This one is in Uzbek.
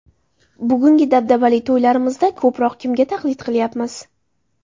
Bugungi dabdabali to‘ylarimizda ko‘proq kimga taqlid qilayapmiz?